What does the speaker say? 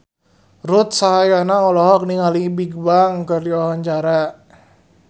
Ruth Sahanaya olohok ningali Bigbang keur diwawancara